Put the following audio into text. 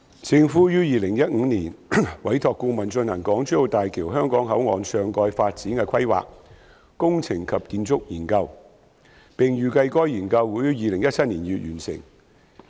政府於2015年委託顧問進行《港珠澳大橋香港口岸上蓋發展的規劃、工程及建築研究》，並預計該研究會於2017年2月完成。